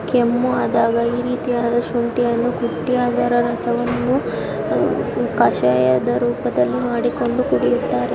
ಕೆಮ್ಮು ಆದಾಗ ಈ ರೀತಿಯಾದ ಶುಂಠಿಯನ್ನು ಕುಟ್ಟಿ ಅದರ ರಸವನ್ನು ಕಷಾಯದ ರೂಪದಲ್ಲಿ ಮಾಡಿಕೊಂಡು ಕುಡಿಯುತ್ತಾರೆ.